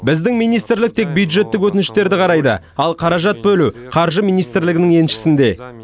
біздің министрлік тек бюджеттік өтініштерді қарайды ал қаражат бөлу қаржы министрлігінің еншісінде